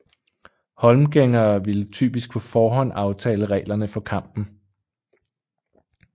Holmgængere ville typisk på forhånd aftale reglerne for kampen